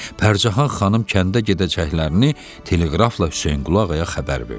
Pərcahan xanım kəndə gedəcəklərini teleqrafla Hüseynqulu Ağaya xəbər verdi.